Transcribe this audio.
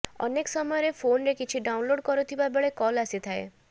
ଅନେକ ସମୟରେ ଫୋନରେ କିଛି ଡାଉନଲୋଡ କରୁଥିବା ବେଳେ କଲ ଆସିଥାଏ